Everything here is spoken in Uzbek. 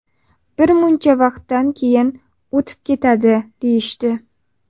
Bir muncha vaqtdan keyin o‘tib ketadi, deyishdi.